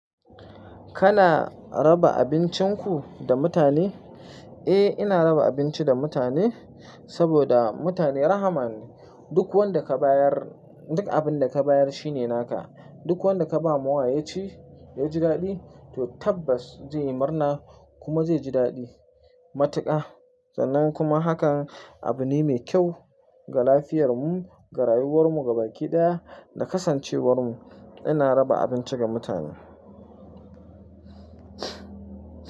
Kana raba abincin ku da mutane? Eh, ina raba abinci da mutane, saboda mutane rahama ne. Duk wanda ka bayar, duk abin da ka bayar shine naka. Duk wanda ka ba mawa yaci ya ji daɗi, to tabbas zai yi murna kuma zai ji daɗi. Matuka, sannan kuma hakan abu ne mai kyau ga lafiyar mu, ga rayuwar mu, ga baki ɗaya da kasancewar mu. Ina raba abinci ga mutane.